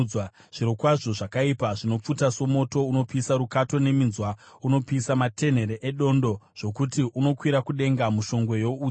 Zvirokwazvo zvakaipa zvinopfuta somoto; unopisa rukato neminzwa, unopisa matenhere edondo zvokuti unokwira kudenga mushongwe youtsi.